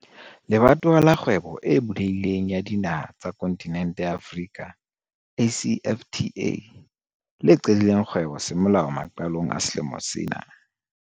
Le batowa la Kgwebo e Bulehi leng ya Dinaha tsa Kontinente ya Afrika, ACFTA, le qadileng kgwebo semolao maqalong a selemo sena.